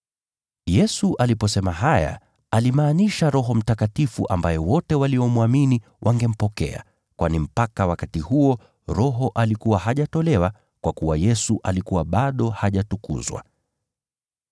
Yesu aliposema haya alimaanisha Roho Mtakatifu ambaye wote waliomwamini wangempokea, kwani mpaka wakati huo, Roho alikuwa hajatolewa, kwa kuwa Yesu alikuwa bado hajatukuzwa.